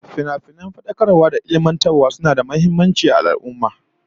Finafinan fadakarwa da ilmantarwa suna da muhimmanci ga al'ummah